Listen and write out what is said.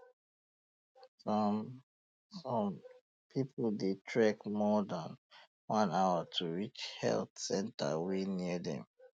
um some um some people dey trek more than um one hour to reach health centre wey near dem